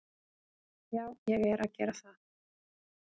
Já, ég er að gera það.